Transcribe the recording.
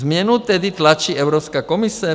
Změnu tedy tlačí Evropská komise?